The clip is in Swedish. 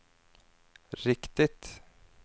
riktigt